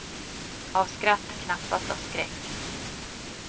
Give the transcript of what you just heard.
Av skratt, knappast av skräck.